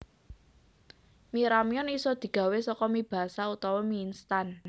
Mi ramyeon isa digawé saka mi basah utawa mi instan